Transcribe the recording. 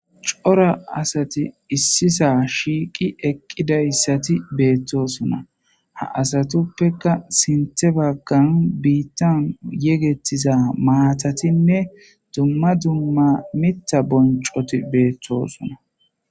cora asati issisa shiiqi eqqidayssati beettosona ha asatuppeka sinthe baggan biittan yegettiza maatatinne dumma dumma mitta boncoti beettosona